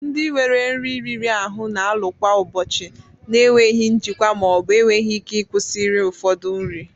Ndị nwere nri riri ahụ na-alụ kwa ụbọchị na enweghị njikwa ma ọ bụ enweghị ike ịkwụsị iri ụfọdụ nri